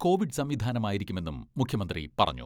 Covid സംവിധാനമായിരിക്കുമെന്നും മുഖ്യമന്ത്രി പറഞ്ഞു.